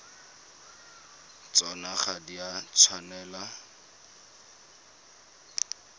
tsona ga di a tshwanela